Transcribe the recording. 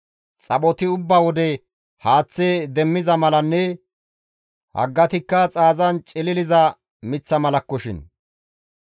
Xaphoti ubba wode haaththe demmiza malanne haggatikka xaazan cililiza miththa malakkoshin.